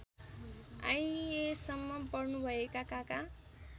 आइएसम्म पढ्नुभएका काका